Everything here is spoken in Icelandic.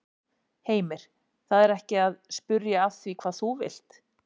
Heimir: Það er ekki að spyrja að því hvað þú vilt?